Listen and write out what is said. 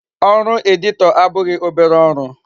Ọrụ editor abụghị obere ọrụ.